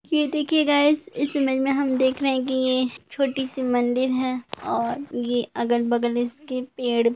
ये देखिये गायस इस इमेज में हम देख रहे है की यह छोटी सी मंदिर है और ये अगल- बगल इसके पेड़--